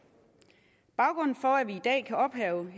baggrunden for at vi i dag kan ophæve